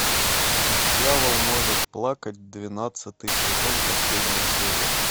дьявол может плакать двенадцатый сезон последняя серия